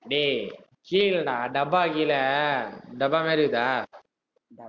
டேய் கீழடா டப்பா கீழே, டப்பா மாதிரி இருக்குதா